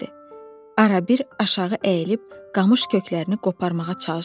Arabir aşağı əyilib qamış köklərini qoparmağa çalışırdı.